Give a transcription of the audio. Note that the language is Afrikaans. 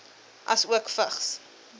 asook vigs